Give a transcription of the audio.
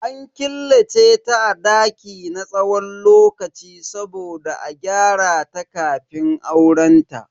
An killace ta a daki na tsawon lokaci saboda a gyarata kafin aurenta.